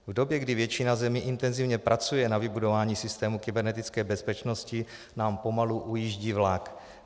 V době, kdy většina zemí intenzivně pracuje na vybudování systému kybernetické bezpečnosti, nám pomalu ujíždí vlak.